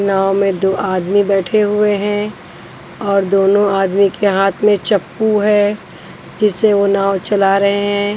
नाव में दो आदमी बैठे हुए हैं और दोनों आदमी के हाथ में चप्पू है जिससे वह नाव चला रहे हैं।